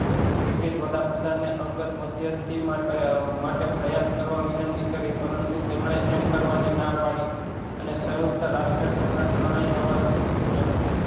British વડાપ્રધાને અંગત મધ્યસ્થી માટ માટે પ્રયાસ કરવા વિનંતી કરી પરંતુ તેમણે એમ કરવાની ના પાડી અને સયુક્ત રાષ્ટ્ર સંઘ ના ચરણે જવા સુ સૂચવ્યું